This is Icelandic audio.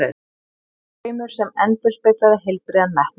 Draumur sem endurspeglaði heilbrigðan metnað.